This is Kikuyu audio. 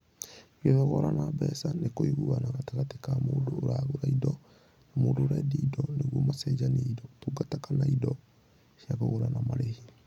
Gũthogorana mbeca nĩ kũiguana gatagatĩ ka mũndũ ũragũra indo na mũndũ ũrendia indo nĩguo macenjanie indo, ũtungata kana indo cia kũgũra na marĩhi.